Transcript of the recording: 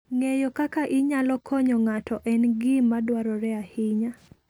Ng'eyo kaka inyalo konyo ng'ato en gima dwarore ahinya.